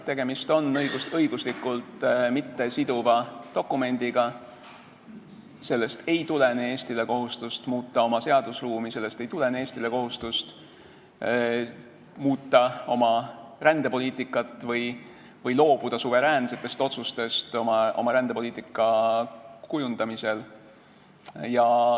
Tegemist on õiguslikult mittesiduva dokumendiga, sellest ei tulene Eestile kohustust muuta oma seadusruumi, sellest ei tulene Eestile kohustust muuta oma rändepoliitikat või loobuda suveräänsetest otsustest oma rändepoliitika kujundamisel.